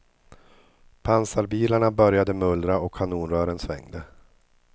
Pansarbilarna började mullra och kanonrören svängde.